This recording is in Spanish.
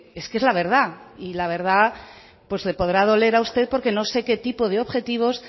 es que es la verdad y la verdad le podrá doler a usted porque no sé qué tipo de objetivos